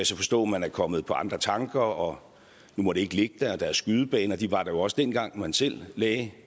så forstå man er kommet på andre tanker og nu må det ikke ligge der og der er skydebaner de var der jo også dengang man selv lagde